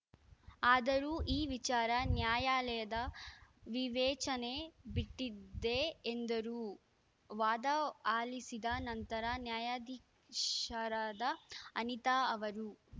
ಆದರೂ ಈ ವಿಚಾರ ನ್ಯಾಯಾಲಯದ ವಿವೇಚನೆಗೆ ಬಿಟ್ಟಿದೆ ಎಂದರು ವಾದ ಆಲಿಸಿದ ನಂತರ ನ್ಯಾಯಾ ಧೀಶರಾದ ಅನಿತಾ ಅವರು